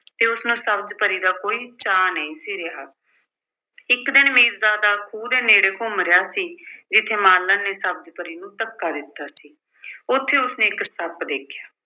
ਕਿ ਉਸਨੂੰ ਸਬਜ਼ ਪਰੀ ਦਾ ਕੋਈ ਚਾਅ ਨਹੀਂ ਸੀ ਰਿਹਾ। ਇੱਕ ਦਿਨ ਮੀਰਜ਼ਾਦਾ ਖੂਹ ਦੇ ਨੇੜੇ ਘੁੰਮ ਰਿਹਾ ਸੀ, ਜਿੱਥੇ ਮਾਲਣ ਨੇ ਸਬਜ਼ ਪਰੀ ਨੂੰ ਧੱਕਾ ਦਿੱਤਾ ਸੀ। ਉੱਥੇ ਉਸਨੇ ਇੱਕ ਸੱਪ ਦੇਖਿਆ